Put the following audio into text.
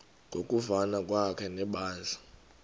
ngokuvana kwakhe nebandla